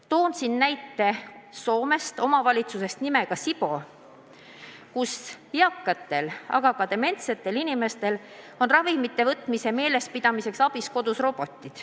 Toon näite Soomest Sipoo vallast, kus eakatel, aga ka dementsetel inimestel on ravimite võtmise meelespidamiseks kodus abiks robotid.